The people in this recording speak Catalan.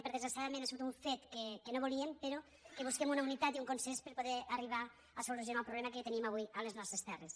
perquè desgraciadament ha sigut un fet que no volíem però que busquem una unitat i un consens per poder arribar a solucionar el problema que tenim avui a les nostres terres